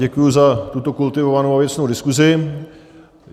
Děkuji za tuto kultivovanou a věcnou diskusi.